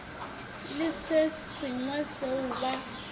le se sengwe seo ba